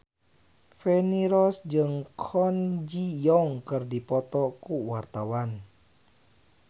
Feni Rose jeung Kwon Ji Yong keur dipoto ku wartawan